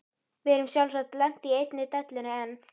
Við erum sjálfsagt lent í einni dellunni enn.